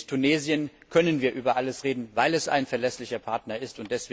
Mit Tunesien können wir über alles reden, weil es ein verlässlicher Partner ist.